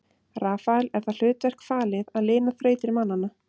Rafael er það hlutverk falið að lina þrautir mannanna.